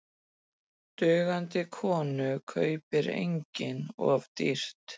Dugandi konu kaupir enginn of dýrt.